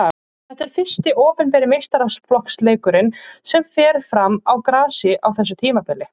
Þetta er fyrsti opinberi meistaraflokksleikurinn sem fer fram á grasi á þessu tímabili.